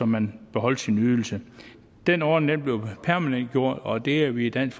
man beholdt sin ydelse den ordning bliver permanentgjort og det er vi i dansk